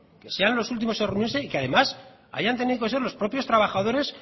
sean los últimos en reunirse y que además hayan tenido que ser los propios trabajadores